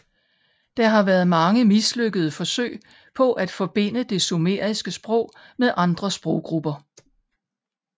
Der har været mange mislykkede forsøg på at forbinde det sumeriske sprog med andre sproggrupper